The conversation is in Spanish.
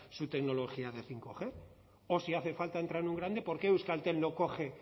su tecnología de bostg o si hace falta entrar en un grande por qué euskaltel no coge